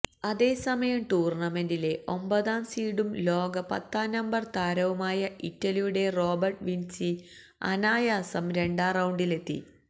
അതേസമയം ടൂര്ണമെന്റിലെ ഒമ്പതാം സീഡും ലോക പത്താം നമ്പര് താരവുമായ ഇറ്റലിയുടെ റോബര്ട്ട വിന്സി അനായാസം രണ്ടാം റൌണ്ടിലെത്തി